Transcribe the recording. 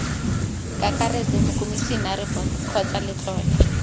kakaretso mokomisinara boto kgotsa letlole